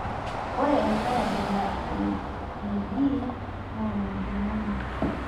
ore enkae abila e EB naa mejung'uni